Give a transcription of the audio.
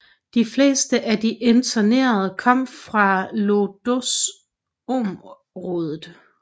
De fleste af de internerede kom fra Łódźområdet